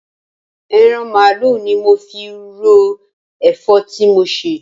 Eran mààálu ni mo fi ro èfó ti mo sè